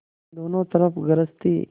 दोनों तरफ गरज थी